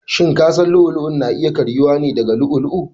Shin kasan lu'u lu'u na iya karyuwa ne daga llu'u lu'u?